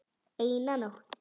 Eina nótt.